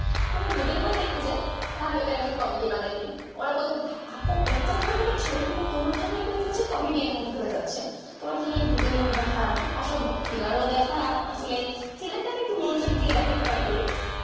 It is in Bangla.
কোনো ভুতের movie দেখতে চাই তাহলে ওটাকে আমি comedy বানাইদি ওরা বলে আপু এত ভয়ঙ্কর ছবি তোমার জন্য এগুলো comedian হয়ে যাচ্ছে তোমাকে নিয়ে ভুতের movie দেখা মানে অসম্ভব thriller ও দেখা আসলে thriller তা আমি আসলে একটু মনোযোগ দিয়ে দেখার চেষ্টা করি